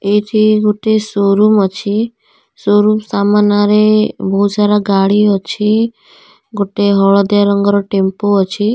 ଏଇଠି ଗୋଟିଏ ସୋରୁମ ଅଛି ସୋରୁମ ସାମନାରେ ବହୁତ ସାରା ଗାଡି ଅଛି ଗୋଟେ ହଳଦିଆ ରଙ୍ଗର ଟେମ୍ପୋ ଅଛି।